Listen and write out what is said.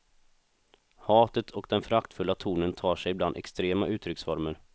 Hatet och den föraktfulla tonen tar sig ibland extrema uttrycksformer.